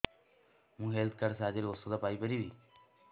ମୁଁ health card ସାହାଯ୍ୟରେ ଔଷଧ ପାଇ ପାରିବି